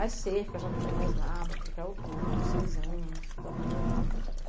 As cerca, já não tinha mais nada, porque caiu tudo, seis anos, tudo abandonado.